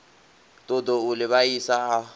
ṱoḓou u ḽi vhaisa a